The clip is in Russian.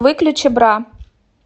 выключи бра